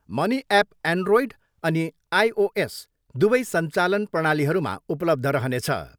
Money app Android अनि iOS दुवै सञ्चालन प्रणलीहरूमा उपलब्ध रहनेछ।